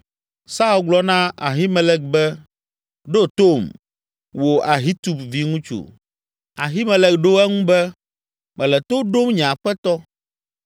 Saul gblɔ na Abimelek be, “Ɖo tom, wò Ahitub viŋutsu!” Abimelek ɖo eŋu be, “Mele to ɖom nye aƒetɔ.”